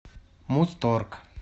музторг